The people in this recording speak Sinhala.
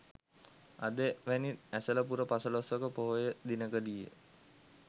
අද වැනි ඇසළ පුර පසළොස්වක පොහොය දිනකදීය